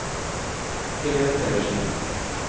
Helen Pedersen